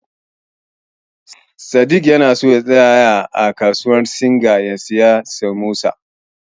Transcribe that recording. Sadik ya so ya tsaya a wajen siyayyar Singa ya siyo Samosa.